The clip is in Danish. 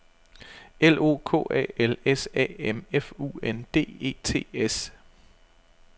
L O K A L S A M F U N D E T S